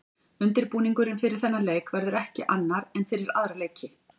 Undirbúningurinn fyrir þennan leik verður ekki annar en fyrir aðra leiki.